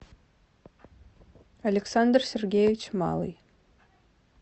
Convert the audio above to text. александр сергеевич малый